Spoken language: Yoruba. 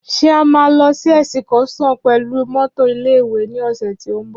Ṣé a máa lọ sí èsìkọ́sàn pẹ̀lú mọ́tọ̀ ilé ìwé ní ọ̀sẹ̀ tí ó ń bọ̀